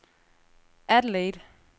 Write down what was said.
Adelaide